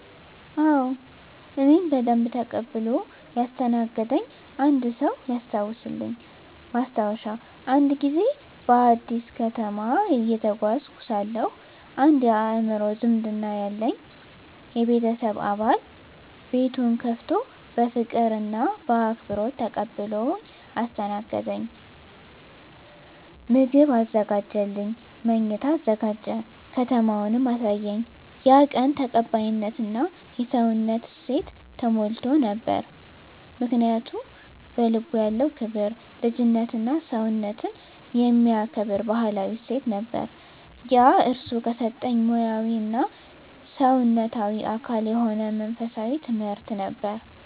አዎ፣ እኔን በደንብ ተቀብሎ ያስተናገደኝ አንድ ሰው ያስታውሳልኝ። ማስታወሻ፦ አንድ ጊዜ በአዲስ ከተማ እየተጓዝኩ ሳለሁ አንድ የአእምሮ ዝምድና ያለኝ የቤተሰብ አባል ቤቱን ከፍቶ በፍቅር እና በአክብሮት ተቀብሎኝ አስተናገደኝ። ምግብ አዘጋጀልኝ፣ መኝታ አዘጋጀ፣ ከተማውንም አሳየኝ። ያ ቀን ተቀባይነት እና የሰውነት እሴት ተሞልቶ ነበር። ምክንያቱ? በልቡ ያለው ክብር፣ ልጅነትና ሰውነትን የሚከብር ባህላዊ እሴት ነበር። ያ እርሱ ከሰጠኝ ሙያዊ እና ሰውነታዊ አካል የሆነ መንፈሳዊ ትምህርት ነበር።